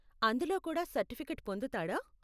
అందులో కూడా సర్టిఫికేట్ పొందుతాడా?